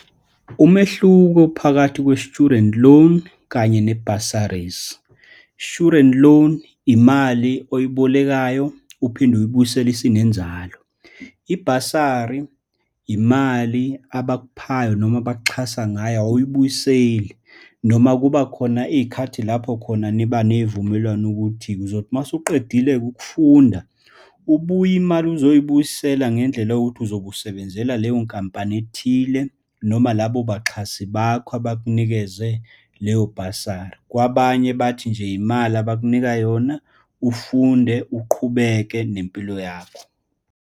Umehluko phakathi kwe-student loan kanye ne-bursaries. I-student loan, imali oyibolekayo uphinde uyibuyisele isinenzalo. Ibhasari, imali abakuphayo noma abakuxhasa ngayo, awuyibuyiseli, noma kuba khona iy'khathi lapho khona niba neyivumelwano ukuthi, uzothi uma usuqedile ukufunda ubuye imali uzoyibuyisela ngendlela yokuthi uzobe usebenzela leyo nkampani ethile noma labo baxhasi bakho abakunikeze leyo bhasari. Kwabanye bathi nje imali abakunika yona, ufunde uqhubeke nempilo yakho.